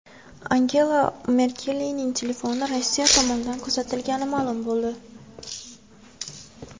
Angela Merkelning telefoni Rossiya tomonidan kuzatilgani ma’lum bo‘ldi.